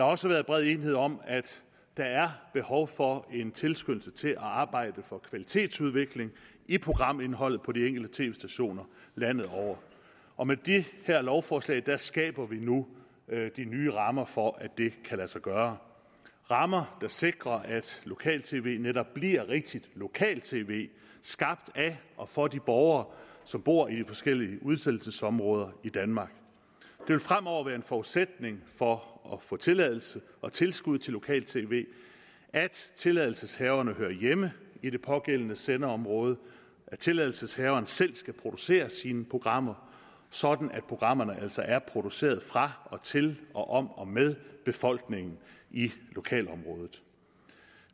også været bred enighed om at der er behov for en tilskyndelse til at arbejde for en kvalitetsudvikling i programindholdet på de enkelte tv stationer landet over og med det her lovforslag skaber vi nu de nye rammer for at det kan lade sig gøre rammer der sikrer at lokale tv netop bliver rigtigt lokal tv skabt af og for de borgere som bor i de forskellige udsendelsesområder i danmark det vil fremover være en forudsætning for at få tilladelse og tilskud til lokal tv at tilladelseshaverne hører hjemme i det pågældende sendeområde og at tilladelseshaveren selv skal producere sine programmer sådan at programmerne altså er produceret fra og til og om og med befolkningen i lokalområdet